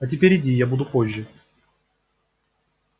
а теперь иди я буду позже